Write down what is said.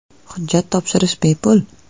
Hujjat topshirish bepul!